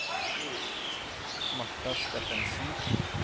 Marta Steffensen